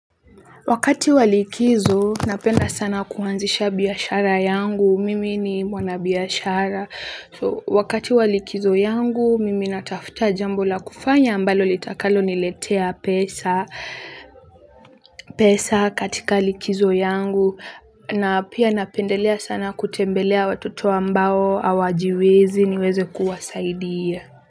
Wakati wa likizo napenda sana kuanzisha biashara yangu mimi ni mwanabiashara so wakati wa likizo yangu mimi natafuta jambo la kufanya ambalo litakalo niletea pesa pesa katika likizo yangu na pia napendelea sana kutembelea watoto ambao hawajiwezi niweze kuwasaidia.